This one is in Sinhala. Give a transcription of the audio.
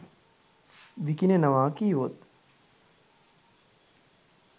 විකිණෙනවා කීවොත්?